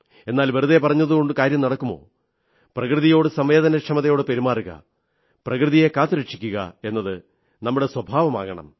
എന്നാൽ വെറുതെ പറഞ്ഞതുകൊണ്ട് കാര്യം നടക്കുമോ പ്രകൃതിയോട് സംവേദനയോടെ പെരുമാറുക പ്രകൃതിയെ കാത്തുരക്ഷിക്കുക എന്നത് നമ്മുടെ സ്വഭാവമാകണം